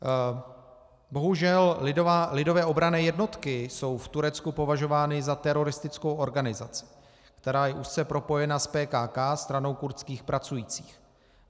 Bohužel Lidové obranné jednotky jsou v Turecku považovány za teroristickou organizaci, která je úzce propojena s PKK, Stranou kurdských pracujících.